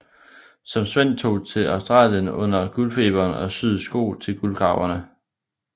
Som svend tog han til Australien under guldfeberen og syede sko til guldgraverne